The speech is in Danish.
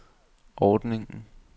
ordningen